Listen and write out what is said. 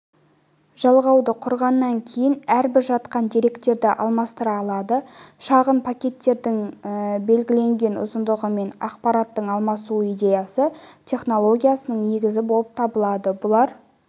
жалғауды құрғаннан кейін әрбір жақтан деректерді алмастыра алады шағын пакеттердің белгіленген ұзындығымен ақпараттың алмасу идеясы технологиясының негізі болып табылады бұлар